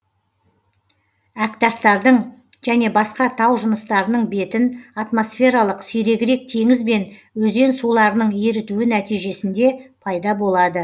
әктастардың және басқа тау жыныстарының бетін атмосфералық сирегірек теңіз бен өзен суларының ерітуі нәтижесінде пайда болады